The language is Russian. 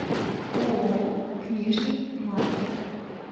ооо книжный маркет